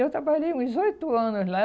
Eu trabalhei uns oito anos lá.